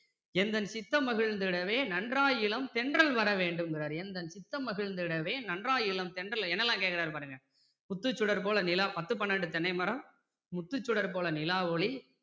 எந்தன் சித்தம் மகிழ்ந்திடவே நன்றாய் இளந்தென்றல் வரவேண்டுங்கிறாரு எந்தன் சித்தம் மகிழ்ந்திடவே நன்றாயிளந்தென்றல் என்னெல்லாம் கேட்குறாரு பாருங்க முத்துசுடர் போல நிலா பத்து பன்னிரண்டு தென்னை மரம்